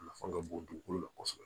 A nafa ka bon dugukolo la kosɛbɛ